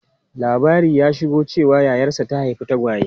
Labari ya shigo cewa yayarsa ta haifi tagwaye.